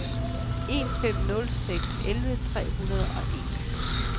en fem nul seks elleve tre hundrede og en